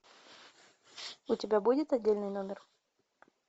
у тебя будет отдельный номер